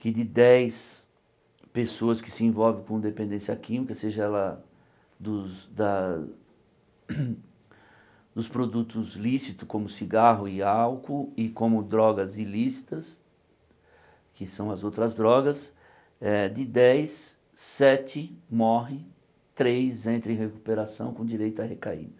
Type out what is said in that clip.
que de dez pessoas que se envolvem com dependência química, seja ela dos da dos produtos lícitos, como cigarro e álcool, e como drogas ilícitas, que são as outras drogas, eh de dez, sete morrem, três entram em recuperação com direito à recaída.